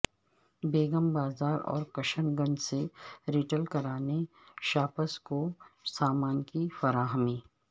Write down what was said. بیگم بازار اور کشن گنج سے retail kirana shops کو سامان کی فراہمی